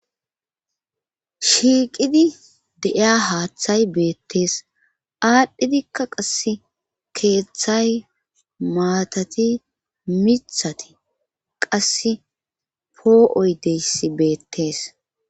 shiiqidi de7iya haaththay beettees aadhdhidikka qasse keeththay maatati mithati qasse poo7oy deyssi beettees